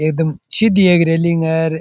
एक दम सीडिया की रेलिंग है।